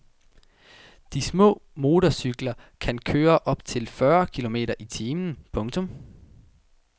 De små motorcykler kan køre op til fyrre kilometer i timen. punktum